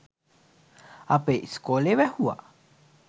අපේ ඉස්කෝ‍ලේ වැහුවා.